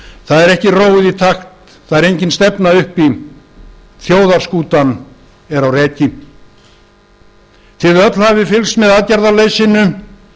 það er ekki róið í takt það er engin stefna uppi þjóðarskútan er á reki þið öll hafið fylgst með aðgerðaleysinu